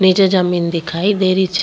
नीचे जमींन दिखाई दे रही छे।